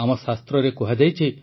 ଆମ ଶାସ୍ତ୍ରରେ କୁହାଯାଇଛି